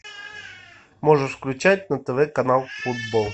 можешь включать на тв канал футбол